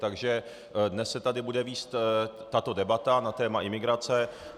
Takže dnes se tady bude vést tato debata na téma imigrace.